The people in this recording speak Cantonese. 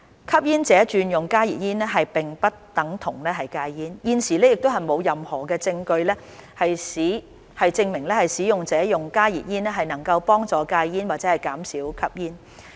吸煙者轉用加熱煙並不等同戒煙，現時亦沒有任何證據證明使用加熱煙能幫助戒煙或減少吸煙。